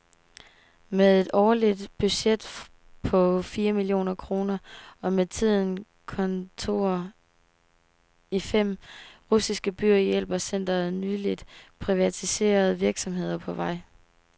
Med et årligt budget på fire millioner kroner og med tiden kontorer i fem russiske byer hjælper centret nyligt privatiserede virksomheder på vej.